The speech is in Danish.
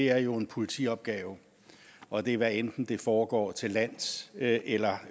er jo en politiopgave og det er hvad enten det foregår til lands eller